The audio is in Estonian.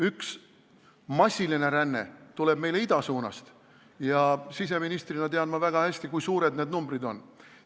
Üks massiline ränne tuleb idasuunast ja siseministrina tean ma väga hästi, kui suured need numbrid on.